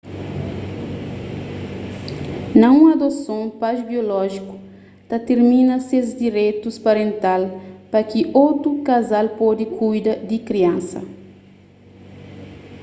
na un adoson pais biolójiku ta tirmina ses direitus parental pa ki otu kazal pode kuida di kriansa